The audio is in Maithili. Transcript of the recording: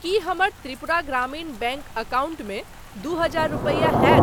की हमर त्रिपुरा ग्रामीण बैंक अकाउंटमे दू हजार रूपैया होयत ?